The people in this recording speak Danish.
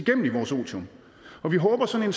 i vores otium og vi håber at sådan